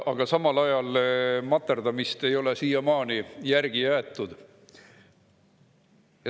Aga samal ajal ei ole materdamist siiamaani järele jäetud.